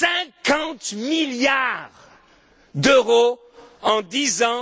50 milliards d'euros en dix ans!